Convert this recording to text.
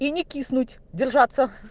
и не киснуть держаться